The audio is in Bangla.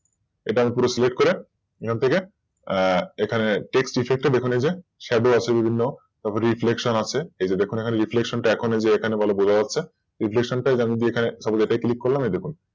এটা আমি পুরো Select করে এখান থেকে TextEffect এখানে যেয়ে Shadow আছে বিভিন্ন Reflection আছে এই যে এখানে এখনো ভালো বোঝা যাচ্ছে Reflection এই যে এখানে ভালো বোঝা যাচ্ছে এই দেখুন।